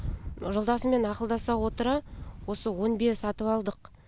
жолдасыммен ақылдаса отыра осы он бие сатып алдық